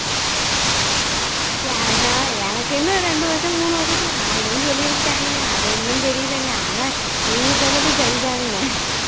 எனக்கா எனக்கு இன்னும் ரெண்டு வருஷம் மூணு வருஷத்துல ஆயிடும்னு சொல்லியிருக்காங்க அது இன்னும் தெரியலைங்க ஆனா நீங்க சொன்னது சரி தானுங்க